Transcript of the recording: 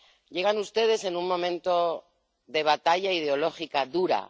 Llegan ustedes en un momento de batalla ideológica dura.